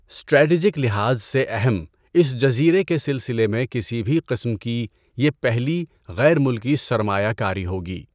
Strategic لحاظ سے اہم اس جزیرے کے سلسلے میں کسی بھی قسم کی یہ پہلی غیر ملکی سرمایہ کاری ہوگی۔